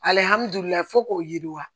fo k'o yiriwa